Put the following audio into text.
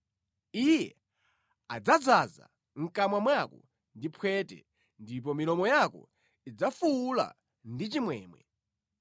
Iye adzadzaza mʼkamwa mwako ndi phwete ndipo milomo yako idzafuwula ndi chimwemwe.